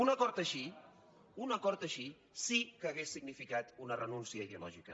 un acord així un acord així sí que hauria significat una renúncia ideològica